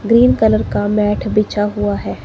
Green colour का mat बिछा हुआ है।